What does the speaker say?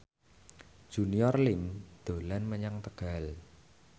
Junior Liem dolan menyang Tegal